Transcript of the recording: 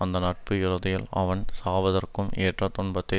அந்த நட்பு இறுதியில் அவன் சாவதற்கும் ஏற்ற துன்பத்தை